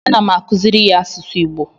ana m akuziri ya asụsụ igbo